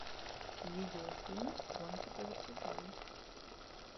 видеофильм гонки по вертикали